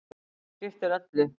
Það skiptir öllu.